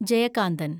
Jayakanthan